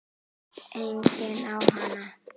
Enginn á hana.